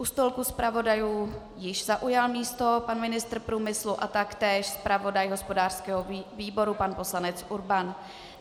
U stolku zpravodajů již zaujal místo pan ministr průmyslu a taktéž zpravodaj hospodářského výboru pan poslanec Urban.